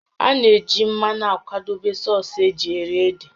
A na-eji mmanụ akwadebe sọọsụ́ eji eri ede